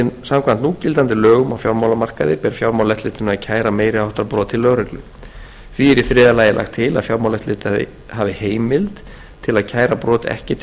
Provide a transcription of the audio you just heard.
samkvæmt núgildandi lögum á fjármálamarkaði ber fjármálaeftirlitinu að kæra meiri háttar brot til lögreglu því er í þriðja lagi lagt til að fjármálaeftirlitið hafi heimild til að kæra brot ekki